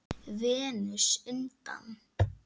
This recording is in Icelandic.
Venus undan